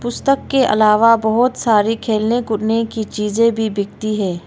पुस्तक के अलावा बहौत सारी खेलने कूदने की चीजे भी बिकती है।